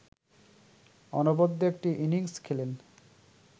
অনবদ্য একটি ইনিংস খেলেন